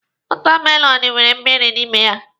Wọtamelọnụ nwere mmịrị n'ime ya.